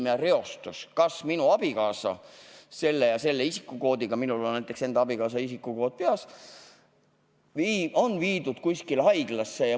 Ma helistan ja küsin, kas minu abikaasa, sellise isikukoodiga – minul on näiteks oma abikaasa isikukood peas –, on viidud kuskile haiglasse.